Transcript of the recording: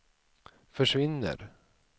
försvinner